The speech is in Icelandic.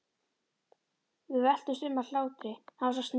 Við veltumst um af hlátri, hann var svo sniðugur.